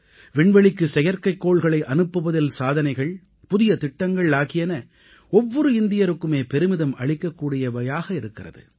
விண்வெளிக்கு செயற்கைக்கோள்களை அனுப்புவதில் சாதனைகள் புதிய திட்டங்கள் ஆகியன ஒவ்வொரு இந்தியருக்குமே பெருமிதம் அளிக்கக்கூடியவையாக இருக்கிறது